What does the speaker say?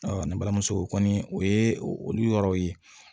ne balimamuso o kɔni o ye olu yɔrɔw ye